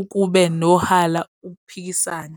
ukube nohala ukuphikisana.